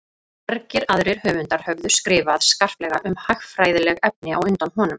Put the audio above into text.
Margir aðrir höfundar höfðu skrifað skarplega um hagfræðileg efni á undan honum.